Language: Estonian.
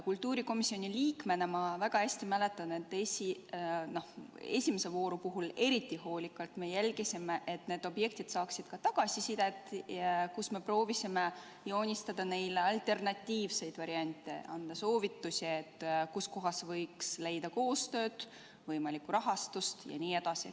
Kultuurikomisjoni liikmena ma väga hästi mäletan, et esimese vooru ajal me eriti hoolikalt jälgisime, et need objektid saaksid ka tagasisidet, me proovisime joonistada neile alternatiivseid variante ja anda soovitusi, kust kohast võiks leida koostööd, võimalikku rahastust jne.